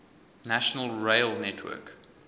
national rail network